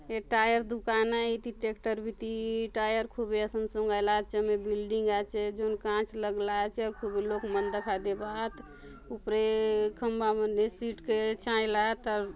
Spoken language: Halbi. ये टायर दुकान आय इति ट्रैक्टर बीती टायर खूबे असन सोंगायला आत झमे बिल्डिंग आचे जोन कांच लगला आचे आउर खूबे लोग मन दखा देबा आत ऊपरे खंबा मन ने शीट के झायला आत आउर --